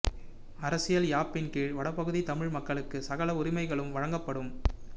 அரசியல் யாப்பின் கீழ் வடபகுதி தமிழ் மக்களுக்கு சகல உரிமைகளும் வழங்கப்படும்